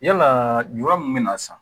Yalaa ju min bɛ na sa